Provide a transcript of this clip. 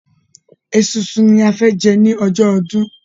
Esunsun ní a fẹ jẹ ní ọjọ́ ọdún